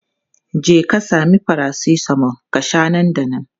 Jeka sami paracetamol ka sha nan da nan!